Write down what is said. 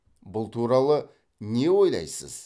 бұл туралы не ойлайсыз